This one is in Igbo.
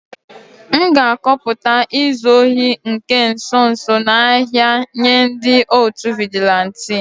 M ga-akọpụta izu ohi nke nso nso a n'ahia nye ndi otu vigilanti